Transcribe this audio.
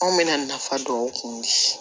Anw bɛna nafa dɔn kun